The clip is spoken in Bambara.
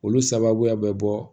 Olu sababuya bɛ bɔ